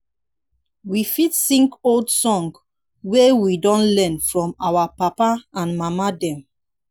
we fit sing old songs wey we don learn from our papa and mama dem